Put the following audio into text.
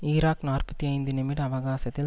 Iraq நாற்பத்தி ஐந்து நிமிட அவகாசத்தில்